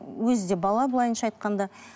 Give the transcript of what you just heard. өзі де бала былайынша айтқанда